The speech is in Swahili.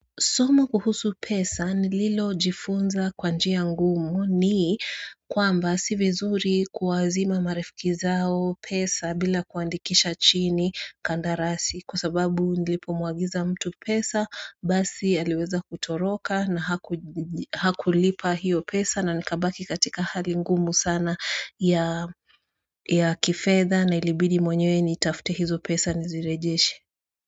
Soma kuhusu pesa nililo jifunza kwa njia ngumu ni kwamba si vizuri kuwaazima marafiki zao pesa bila kuandikisha chini kandarasi. Kwa sababu nilipo mwagiza mtu pesa basi aliweza kutoroka na hakulipa hiyo pesa na nikabaki katika hali ngumu sana ya kifedha na ilibidi mwenyewe nitafute hizo pesa nizirejeshe.